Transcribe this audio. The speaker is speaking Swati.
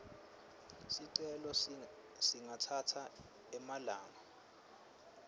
sicelo singatsatsa emalanga